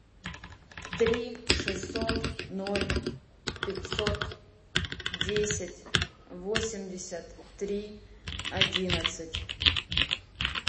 три шестьсот ноль пятьсот десять восемьдесят три одиннадцать